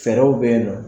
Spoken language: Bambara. Fɛɛrɛw bɛ ye nɔ